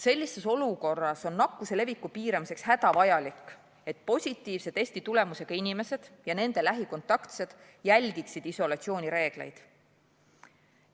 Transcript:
Sellises olukorras on nakkuse leviku piiramiseks hädavajalik, et positiivse testitulemusega inimesed ja nende lähikontaktsed jälgiksid isolatsioonireegleid.